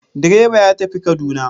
Direba ya tafi kaduna.